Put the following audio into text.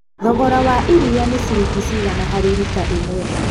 Thogora wa iria nĩ ciringi cigana harĩ rita ĩmwe?